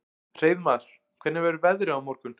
Hreiðmar, hvernig verður veðrið á morgun?